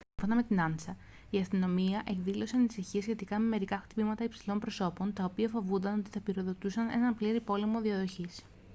σύμφωνα με την ansa «η αστυνομία εκδήλωσε ανησυχίες σχετικά με μερικά χτυπήματα υψηλών προσώπων τα οποία φοβόταν ότι θα πυροδοτήσουν έναν πλήρη πόλεμο διαδοχής